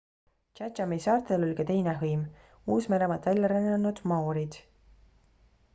chathami saartel oli ka teine hõim uus-meremaalt välja rännanud maoorid